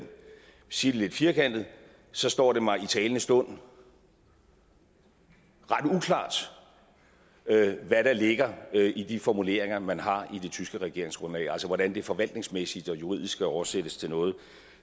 sige det lidt firkantet står det mig i talende stund ret uklart hvad der ligger i de formuleringer man har i det tyske regeringsgrundlag altså hvordan det forvaltningsmæssigt og juridisk skal oversættes til noget